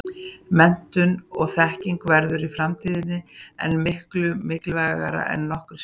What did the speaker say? Menntun og þekking verður í framtíðinni enn miklu mikilvægari en nokkru sinni fyrr.